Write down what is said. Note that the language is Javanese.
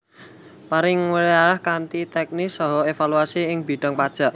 Paring weearah kanthi teknis saha evaluasi ing bidhang pajak